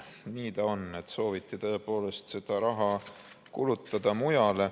Nii ta on, et sooviti tõepoolest seda raha kulutada mujale.